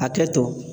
Hakɛ to